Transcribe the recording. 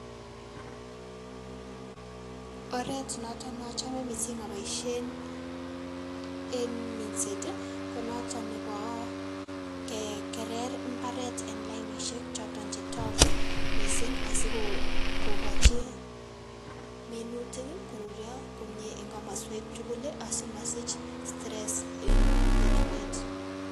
Oret noton neachome missing aboisien eng minset ko noto nebo kekerer mbaret eng lainisiek choton chetaku missing asiko ko kochi minutik koruryo komie eng kamaswek tukul asimasich stress eng etunet.